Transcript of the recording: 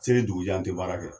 Seli dugujɛɛ an tɛ baara kɛ.